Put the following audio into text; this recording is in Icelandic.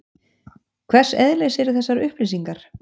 Hvers eðlis eru þessar upplýsingar?